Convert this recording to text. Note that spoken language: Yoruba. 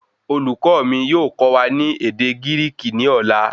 Olùkọ̀ọ́ mì yóò kọ wa ní ède Gíríkì ní ọ̀la